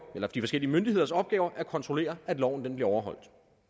de forskellige myndigheders opgave at kontrollere at loven bliver overholdt